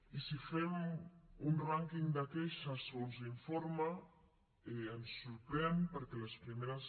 i si fem un rànquing de queixes segons l’informe ens sorprèn perquè les primeres